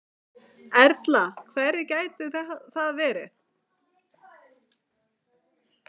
Erla: Hverjir gætu það verið?